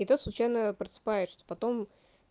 и то случайно просыпаешься потом